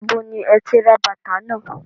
Ibo ni ẹ ti ra bàtà náà?